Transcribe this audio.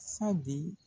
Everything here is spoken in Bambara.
Sadi